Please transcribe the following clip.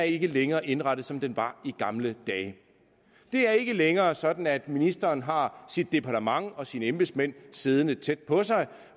ikke længere er indrettet som den var i gamle dage det er ikke længere sådan at ministeren har sit departement og sine embedsmænd siddende tæt på sig